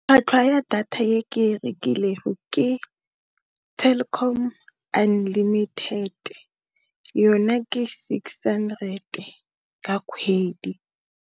Tlhwatlhwa ya data e ke e rekileng ke Telkom unlimited yona ke six hundred ka kgwedi.